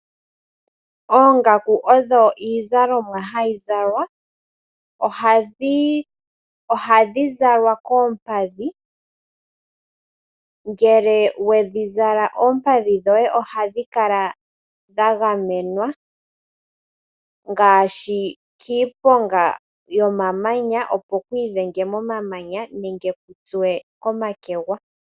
Oongaku odho iizalomwa hayi zalwa. Ohadhi zalwa koompadhi. Ngele wedhi zala oompadhi dhoye ohadhi kala dhagamenwa ngaashi kiiponga, opo kwiidhenge momamanya nenge kuutsuwe komakegwa.